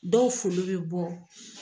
Dɔw folo be bɔ.